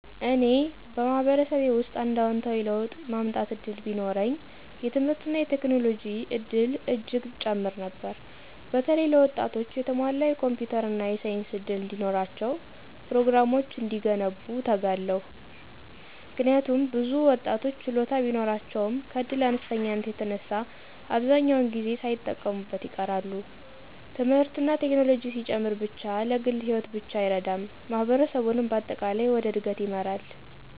እኔ በማህበረሰቤ ውስጥ አንድ አዎንታዊ ለውጥ ማመጣት እድል ቢኖረኝ፣ የትምህርትና የቴክኖሎጂ እድል እጅግ እጨምር ነበር። በተለይ ለወጣቶች የተሟላ የኮምፒውተር እና የሳይንስ እድል እንዲኖራቸው፤ ፕሮግራሞች እንዲገነቡ እተጋለሁ ነበር። ምክንያቱም ብዙ ወጣቶች ችሎታ ቢኖራቸውም ከእድል አነስተኛነት የተነሳ አብዛኛውን ጊዜ ሳይጠቀሙበት ይቀራሉ። ትምህርትና ቴክኖሎጂ ሲጨምር ብቻ ለግል ሕይወት ብቻ አይረዳም፣ ማህበረሰቡንም በአጠቃላይ ወደ እድገት ይመራል።